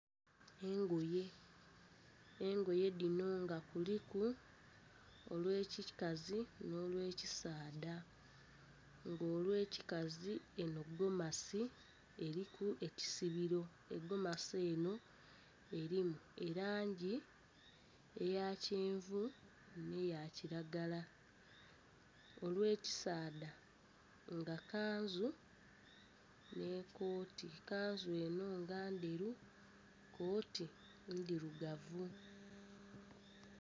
Engoye, engoye dhino nga kuliku olw'ekikazi nhi olw'ekisaadha. Nga olw'ekikazi enho gomasi eriku ekisibiro, egomasi enho erimu elangi eya kyenvu nh'eya kilagala. Olw'ekisaadha nga kanzu nh'ekooti, kanzu enho nga ndheru, kooti ndhirugavu.